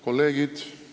Kolleegid!